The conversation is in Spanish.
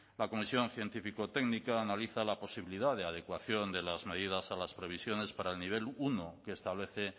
la comisión científico técnica analiza la posibilidad de adecuación de las medidas a las previsiones para el nivel uno que establece